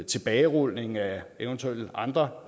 tilbagerulning af eventuelle andre